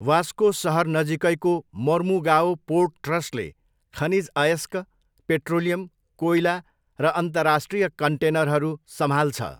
Vasco सहर नजिकैको Mormugao port ट्रस्टले खनिज अयस्क, पेट्रोलियम, कोइला र अन्तर्राष्ट्रिय कन्टेनरहरू सम्हाल्छ।